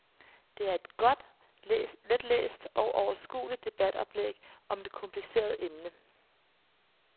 Det er et godt, letlæst og overskueligt debatoplæg om et kompliceret emne.